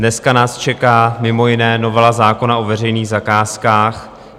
Dnes nás čeká mimo jiné novela zákona o veřejných zakázkách.